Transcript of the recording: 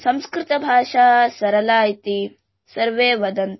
संस्कृतंभाषां सरला इति सर्वे वदन्ति